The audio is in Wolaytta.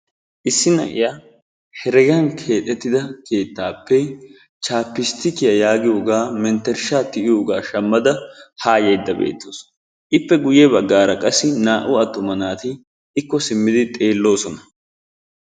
issi na'iya heregan keexettida keettaappe chapistikkiya yaagioypoga mentersha tiyiyooga shamada haa yaydda beetawusu. Ippe guyye baggaara qassi naa'u attuma naati ikko simmidi xeeloosona.